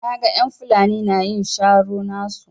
Na gan en Fulani na yin sharo nasu.